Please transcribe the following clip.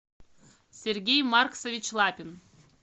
сергей марксович лапин